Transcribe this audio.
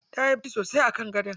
Tayi bacci sosai a kan gadon?